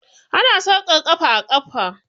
Ana sa sarƙar ƙafa a ƙafa